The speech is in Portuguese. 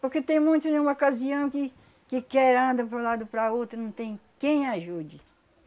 Porque tem muitos em um ocasião que que quer anda para um lado para outro e não tem quem ajude.